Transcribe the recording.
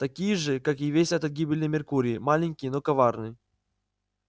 такие же как и весь этот гибельный меркурий маленький но коварный